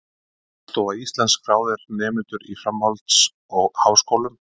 Hagstofa Íslands- skráðir nemendur í framhalds- og háskólum.